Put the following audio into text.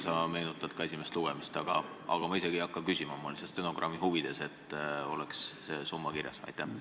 Aga ma isegi ei hakka küsima, ma tahtsin öelda lihtsalt stenogrammi huvides, et see summa oleks kirjas.